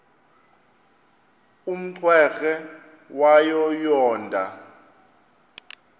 umrweqe wayo yoonda